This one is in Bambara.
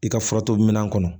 I ka furato minɛn kɔnɔ